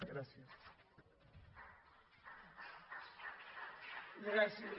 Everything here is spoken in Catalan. gràcies